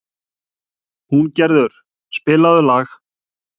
Húngerður, spilaðu lag.